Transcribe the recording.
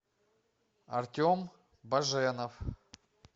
артем баженов